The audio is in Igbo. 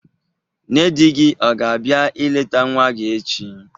Nne di gi o ga-abia ileta nwa gi echi?